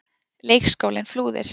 Leikskólinn Flúðir.